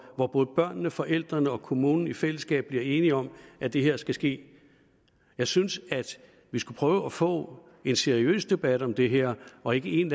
når både børnene forældrene og kommunen i fællesskab bliver enige om at det her skal ske jeg synes vi skulle prøve at få en seriøs debat om det her og ikke en